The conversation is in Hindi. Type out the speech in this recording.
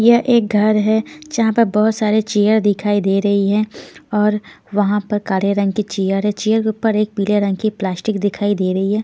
ये एक घर है जहां पर बहुत सारे चेयर दिखाई दे रही है और वहां पर काले रंग की चेयर है चेयर के ऊपर एक पीले रंग की प्लास्टिक दिखाई दे रही है।